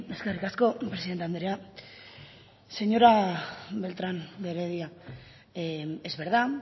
eskerrik asko presidente andrea señora beltrán de heredia es verdad